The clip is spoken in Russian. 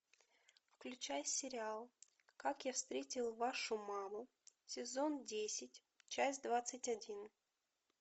включай сериал как я встретил вашу маму сезон десять часть двадцать один